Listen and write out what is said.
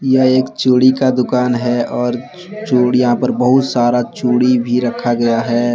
यह एक चूड़ी का दुकान है और चूड़ यहां पर बहुत सारा चूड़ी भी रखा गया है।